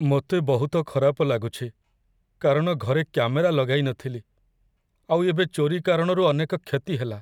ମୋତେ ବହୁତ ଖରାପ ଲାଗୁଛି କାରଣ ଘରେ କ୍ୟାମେରା ଲଗାଇ ନଥିଲି, ଆଉ ଏବେ ଚୋରି କାରଣରୁ ଅନେକ କ୍ଷତି ହେଲା।